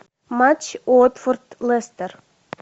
матч уотфорд лестер